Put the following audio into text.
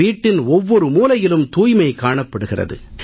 வீட்டின் ஒவ்வொரு மூலையிலும் தூய்மை காணப்படுகிறது